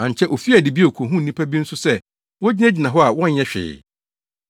“Ankyɛ ofii adi bio kohuu nnipa bi nso, sɛ wogyinagyina hɔ a wɔnyɛ hwee.